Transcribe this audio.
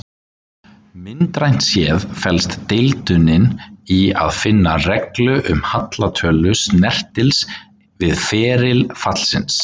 Myndrænt séð felst deildunin í að finna reglu um hallatölu snertils við feril fallsins.